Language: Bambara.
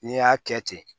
N'i y'a kɛ ten